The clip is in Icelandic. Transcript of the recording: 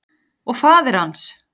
Og faðir hans?